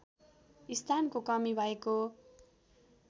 स्थानको कमी भएको